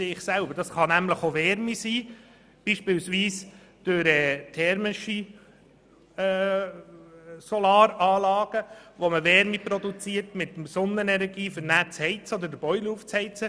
Dies können zum Beispiel thermische Solaranlagen sein, die es erlauben, mit Sonnenenergie Wärme zu erzeugen, um das Haus oder den Boiler zu heizen.